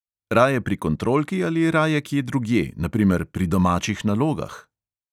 Raje pri kontrolki ali raje kje drugje, na primer pri domačih nalogah?